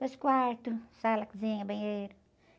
Dois quartos, sala, cozinha, banheiro.